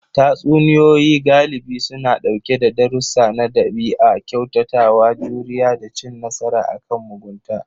Tatsuniyoyi galibi suna ɗauke sa darussa na ɗabi'a, kyautatawa, juriya, da cin nasara akan mugunta.